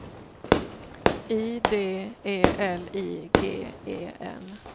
I D E L I G E N